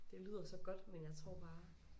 Det lyder så godt men jeg tror bare